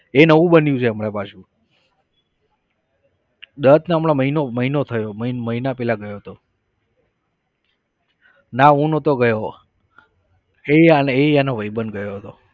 એ નવું બન્યું છે હમણા પાછુ દત્તને હમણાં મહિનો મહિનો થયો મહિના પહેલા ગયો હતો ના હું નહતો ગયો એ અને એ એનો ભાઈબંધ ગયો હતો.